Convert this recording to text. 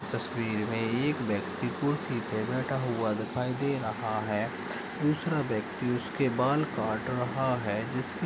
तस्वीर में एक व्यक्ति कुर्सी पे बैठा हुआ दिखाई दे रहा है दूसरा व्यक्ति उसके बाल काट रहा है।